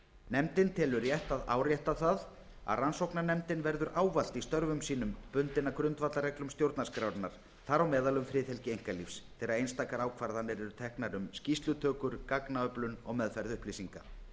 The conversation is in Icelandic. nefndin telur rétt að árétta það að rannsóknarnefndin verður ávallt í störfum sínum bundin af grundvallarreglum stjórnarskrárinnar þar á meðal um friðhelgi einkalífs þegar einstakar ákvarðanir eru teknar um skýrslutökur gagnaöflun og meðferð upplýsinga